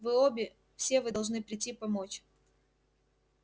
вы обе все вы должны прийти помочь